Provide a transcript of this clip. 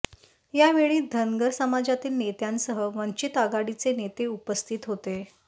यावेळी धनगर समाजातील नेत्यांसह वंचित आघाडीचे नेते उपस्थित होते